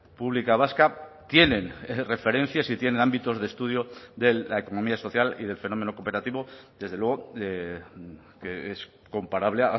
pública vasca tienen referencias y tienen ámbitos de estudio de la economía social y del fenómeno cooperativo desde luego que es comparable